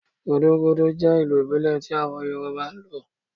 Gúdúgúdú jẹ ilu ibile tí awon Yoruba n lo